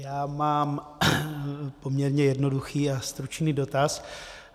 Já mám poměrně jednoduchý a stručný dotaz.